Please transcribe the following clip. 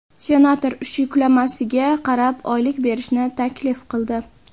Senator ish yuklamasiga qarab oylik berishni taklif qildi.